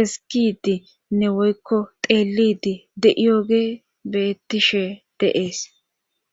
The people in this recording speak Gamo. eskidinne woykko xeelidi de7iyoge beettishe deees